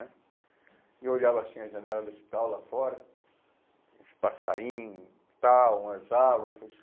Né... E eu olhava assim as janelas do hospital lá fora, os passarinhos, tal, umas árvores.